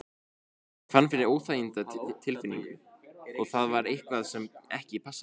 Hann fann fyrir óþægindatilfinningu og það var eitthvað sem ekki passaði.